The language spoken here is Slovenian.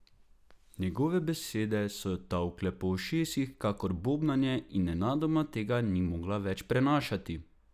Njegove besede so jo tolkle po ušesih kakor bobnanje in nenadoma tega ni mogla več prenašati.